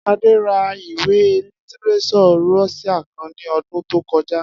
Adé ra ìwé lítírés̩ò̩ Ró̩s̩íà kan ní o̩dún tó ko̩já